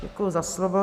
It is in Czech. Děkuji za slovo.